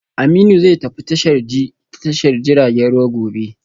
Aminu zai tafi tashar ji ta tashar jiragen ruwa gobe